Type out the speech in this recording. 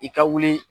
I ka wuli